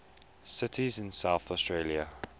cities in south australia